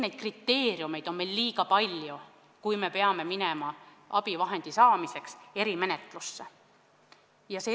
Neid kriteeriume, mis puhul abivahendi saamiseks on vaja erimenetlust, on liiga palju.